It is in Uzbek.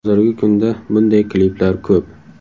Hozirgi kunda bunday kliplar ko‘p.